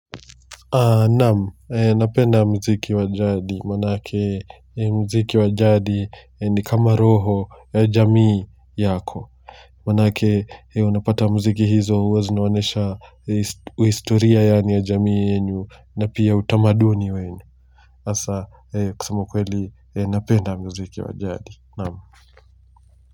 Aah, naam. Napenda mziki wa jadi, manake mziki wa jadi nikama roho ya jamii yako. Manake unapata mziki hizo huwa zinaonyesha historia ya jamii yenyu na pia utamaduni wenu. Asa kusema ukweli, napenda mziki wa jadi. Naam.